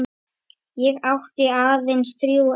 Ég átti aðeins þrjú eftir.